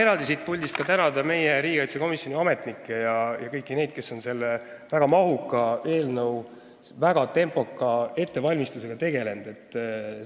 Ma tahan siit puldist eraldi tänada meie riigikaitsekomisjoni ametnikke ja kõiki neid, kes on selle väga mahuka eelnõu väga tempoka ettevalmistusega tegelenud.